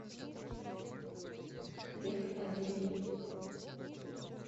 век аделин